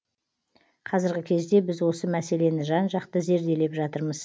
қазіргі кезде біз осы мәселені жан жақты зерделеп жатырмыз